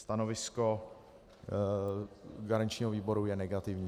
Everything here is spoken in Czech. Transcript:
Stanovisko garančního výboru je negativní.